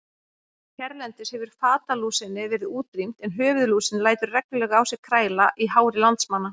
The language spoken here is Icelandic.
Hérlendis hefur fatalúsinni verið útrýmt en höfuðlúsin lætur reglulega á sér kræla í hári landsmanna.